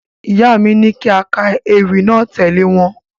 Ìyá mi ní kí a ka ewì náà tẹ̀lé wọn.